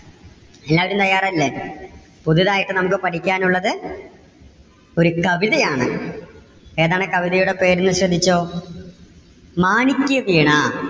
എല്ലാവരും തയ്യാറല്ലേ പുതുതായിട്ട് നമുക്ക് പഠിക്കാൻ ഉള്ളത് ഒരു കവിതയാണ്. ഏതാണ് കവിതയുടെ പേര് എന്ന് ശ്രദ്ധിച്ചോ? മാണിക്യവീണ.